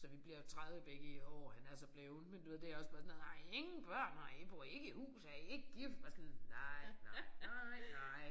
Så vi bliver jo 30 begge i år han er så blevet men du ved det også bare sådan noget har I ingen børn har I bor I ikke i hus er I ikke gift? Bare sådan nej nej nej